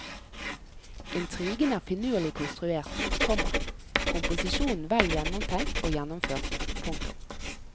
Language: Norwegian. Intrigen er finurlig konstruert, komma komposisjonen vel gjennomtenkt og gjennomført. punktum